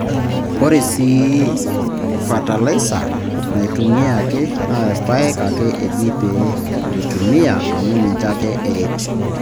Ore sii fatalaisa naaitumiyaki naa irpaek ake eji pee eitumiya amu ninche ake eret.